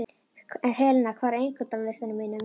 Helena, hvað er á innkaupalistanum mínum?